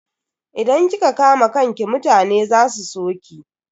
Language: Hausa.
Idan kika kama kanki mutane za su so ki.